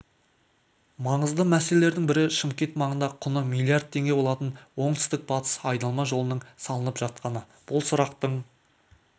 маңызды мәселелердің бірі шымкент маңында құны миллиард теңге болатын оңтүстік-батыс айналма жолының салынып жатқаны бұл сұрақтың